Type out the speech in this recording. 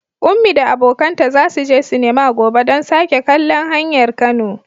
Ummi da abokanta za su je sinema gobe don sake kallon Hanyar Kano.